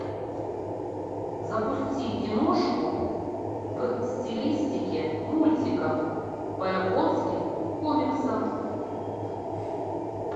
запусти киношку в стилистике мультиков по японским комиксам